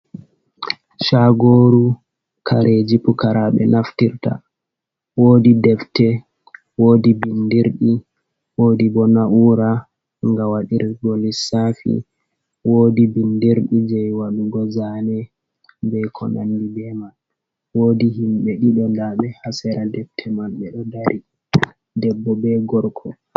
Chagoru kareji pukaraɓe naftirta, wodi defte, wodi bindirɗi, wodi bo naura ga wadirgo lisafi, wodi bindirɗi je wadugo zane, be konandi ɓe man. Wodi himɓe ɓe ɗiɗo daɓe hasera defte man be do dari debbo be gorko.